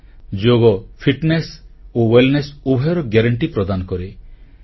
ଯୋଗ ଶାରିରୀକ ସାମର୍ଥ୍ୟ ବା ଫିଟନେସ ଓ ସ୍ୱାସ୍ଥ୍ୟ କଲ୍ୟାଣ ଉଭୟର ଗ୍ୟାରେଂଟି ପ୍ରଦାନ କରେ